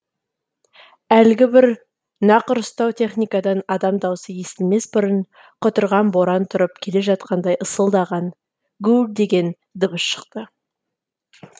әлгі бір нақұрыстау техникадан адам даусы естілмес бұрын құтырған боран тұрып келе жатқандай ысылдаған гуілдеген дыбыс шықты